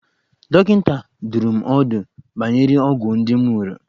Dọkịta dụrụ m ọdụ banyere ọgwụ ndị m ṅụrụ.